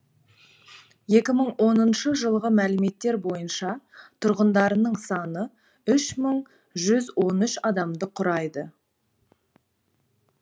екі мың оныншы жылғы мәліметтер бойынша тұрғындарының саны үш мың жүз он үш адамды құрайды